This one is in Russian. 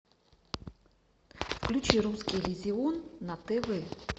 включи русский иллюзион на тв